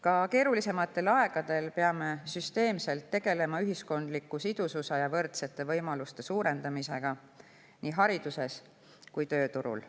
Ka keerulisematel aegadel peame süsteemselt tegelema ühiskondliku sidususe ja võrdsete võimaluste suurendamisega nii hariduses kui ka tööturul.